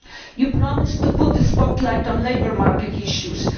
You promised to put the spotlight on labour market issues.